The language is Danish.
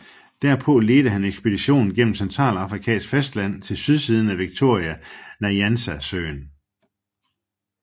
Derpå ledte han ekspeditionen gennem Centralafrikas fastland til sydsiden af Victoria Nyanza Søen